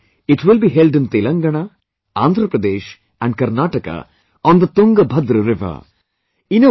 Next year it will be held in Telangana, Andhra Pradesh and Karnataka on the Tungabhadra river